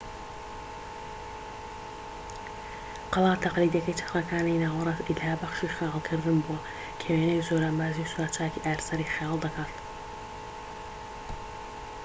قەڵا تەقلیدیەکەی چەرخەکانی ناوەڕاست ئیلهابەخشی خەیاڵکردن بووە کە وێنەی زۆرانبازی و سوراچاکی ئارسەری خەیاڵدەکات